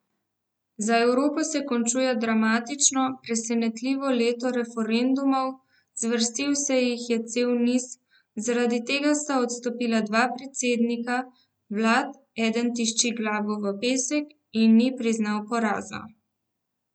Za Evropo se končuje dramatično, presenetljivo leto referendumov, zvrstil se jih je cel niz, zaradi tega sta odstopila dva predsednika vlad, eden tišči glavo v pesek in ni priznal poraza.